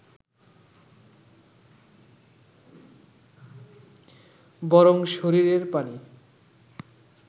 বরং শরীরের পানি